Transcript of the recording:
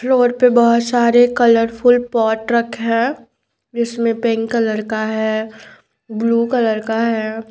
Floor पे बहुत सारे कलरफुल पॉट रखे है इसमे पिंक कलर का है ब्लू कलर का है।